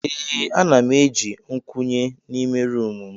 Ee ana m eji nkwunye n'ime roomu m.